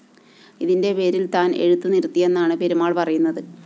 ഇതിന്റെ പേരില്‍ താന്‍ എഴുത്തു നിര്‍ത്തിയെന്നാണ് പെരുമാള്‍ പറയുന്നത്